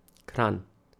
Kranj.